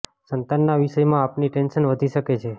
સંતાન ના વિષય માં આપની ટેન્શન વધી શકે છે